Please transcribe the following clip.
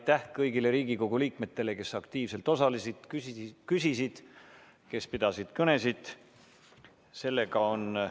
Aitäh kõigile Riigikogu liikmetele, kes aktiivselt osalesid, küsimusi küsisid ja kõnesid pidasid!